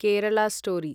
Kerala story